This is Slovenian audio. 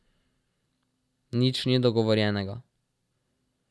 Nič ni dogovorjenega.